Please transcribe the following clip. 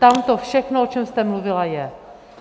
Tam to všechno, o čem jste mluvila, je.